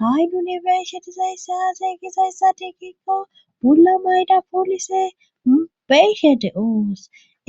Ha'ydunibersitizayissi haasay gizayssa tiikikko bula mayda poolise mubeyshe de7oos